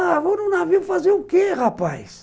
Ah... vamos num navio fazer o que, rapaz?